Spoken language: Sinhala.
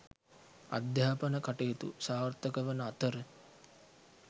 අධ්‍යාපන කටයුතු සාර්ථකවන අතර